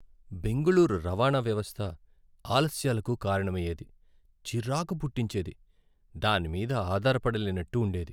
బెంగళూరు రవాణా వ్యవస్థ ఆలస్యాలకు కారణమయ్యేది, చిరాకు పుట్టించేది, దాని మీద ఆధారపడలేనట్టు ఉండేది.